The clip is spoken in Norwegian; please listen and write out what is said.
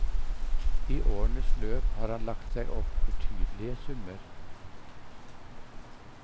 I årenes løp har han lagt seg opp betydelige summer.